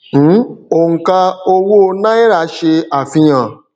um oǹkà owó náírà ṣe àfihàn